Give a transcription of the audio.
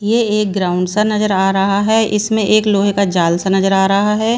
ये एक ग्राउंड सा नजर आ रहा है इसमें एक लोहे का जाल सा नजर आ रहा है।